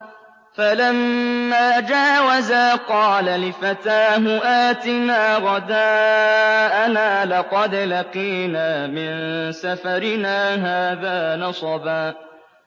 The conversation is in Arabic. فَلَمَّا جَاوَزَا قَالَ لِفَتَاهُ آتِنَا غَدَاءَنَا لَقَدْ لَقِينَا مِن سَفَرِنَا هَٰذَا نَصَبًا